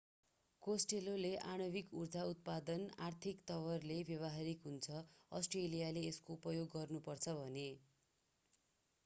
Costello costelloले आणविक ऊर्जा उत्पादन आर्थिक तवरले व्यवहारिक हुन्छ अष्ट्रेलियाले यसको उपयोग गर्नु पर्छ भने।